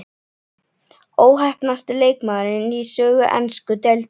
Óheppnasti leikmaðurinn í sögu ensku deildarinnar?